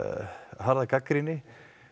harða gagnrýni